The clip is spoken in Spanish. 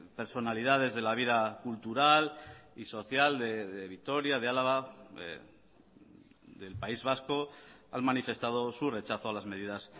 personalidades de la vida cultural y social de vitoria de álava del país vasco han manifestado su rechazo a las medidas